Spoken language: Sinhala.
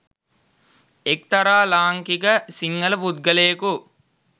එක්‌තරා ලාංකික සිංහල පුද්ගලයකු